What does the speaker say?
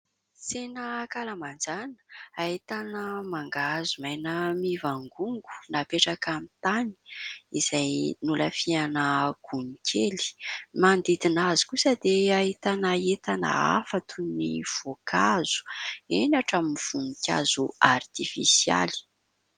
Tsena ankalamanjana ahitana mangahazo maina mivangongo napetraka amin'ny tany izay nolafiana gony kely ; manodidina azy kosa dia ahitana entana hafa toy ny voankazo eny hatramin'ny voninkazo artifisialy.